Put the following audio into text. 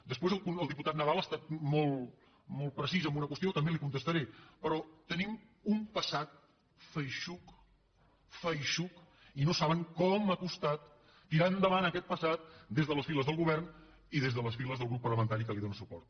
després el diputat nadal ha estat molt precís amb una qüestió també li contestaré però tenim un passat feixuc feixuc i no saben com ha costat tirar endavant aquest passat des de les files del govern i des de les files del grup parlamentari que li dóna suport